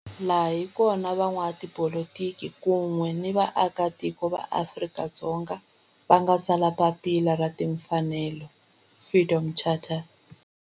Laha hi kona la van'watipolitiki kun'we ni vaaka tiko va Afrika-Dzonga va nga tsala papila ra timfanelo, Freedom Charter.